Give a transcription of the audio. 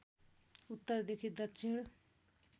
उत्तर देखि दक्षिण